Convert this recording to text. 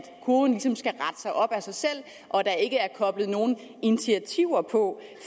kurven ligesom skal rette sig op af sig selv og der ikke er koblet nogen initiativer på